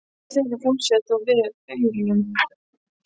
Enginn þeirra fúlsaði þó við aurunum.